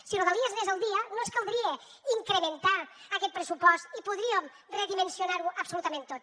si rodalies anés al dia no ens caldria incrementar aquest pressupost i podríem redimensionar ho absolutament tot